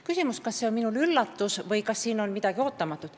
Küsimus oli, kas see oli minule üllatus, kas siin on midagi ootamatut.